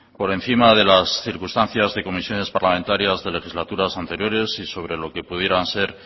por encima de las circunstancias de comisiones parlamentarias de legislaturas anteriores y sobre lo que pudieran ser